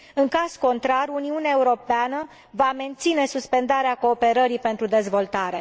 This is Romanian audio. În caz contrar, Uniunea Europeană va menține suspendarea cooperării pentru dezvoltare.